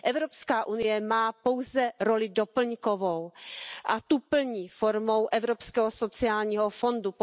Evropská unie má pouze roli doplňkovou a tu plní formou Evropského sociálního fondu.